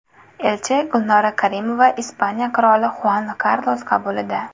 Elchi Gulnora Karimova Ispaniya qiroli Xuan Karlos qabulida.